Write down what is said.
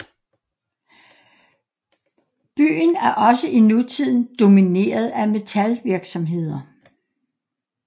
Byen er også i nutiden domineret af metalvirksomheder